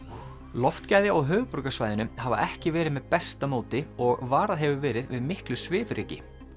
loftgæði á höfuðborgarsvæðinu hafa ekki verið með besta móti og varað hefur verið við miklu svifryki